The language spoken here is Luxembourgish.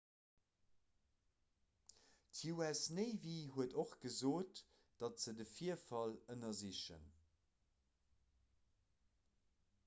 d'us navy huet och gesot datt se de virfall ënnersichen